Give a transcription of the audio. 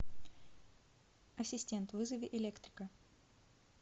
ассистент вызови электрика